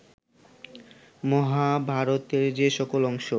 মহাভারতের যে সকল অংশ